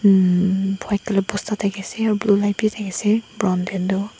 umm white colour bosta thakiase aru blue light bi thakiase brown taetu.